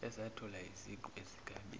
ezathola iziqu ezigabeni